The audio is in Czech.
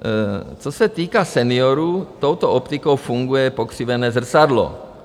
Co se týká seniorů, touto optikou funguje pokřivené zrcadlo.